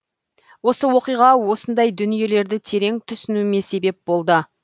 осы оқиға осындай дүниелерді терең түсінуіме себеп болды